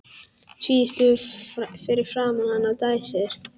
Tvístígur fyrir framan hana og dæsir.